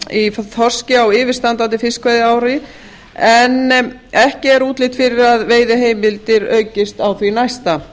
í þorski á yfirstandandi fiskveiðiári en ekki er útlit fyrir að veiðiheimildir aukist á því næsta